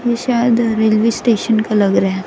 ये शायद railway station का लग रहा है।